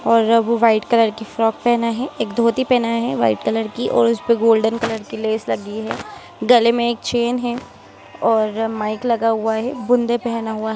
और वह भी व्हाइट कलर की फ्रॉक पहना है एक धोती पहनाया है व्हाइट कलर की और उसपे गोल्डन कलर की लेस लगी है गले में एक चैन है और माइक लगा हुआ है बूंदे पहना हुआ।